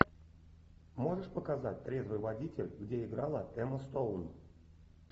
можешь показать трезвый водитель где играла эмма стоун